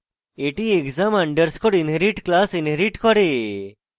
এটি exam underscore inherit class inherit করে